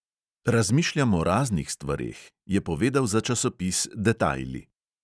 Razmišljam o raznih stvareh, je povedal za časopis detajli.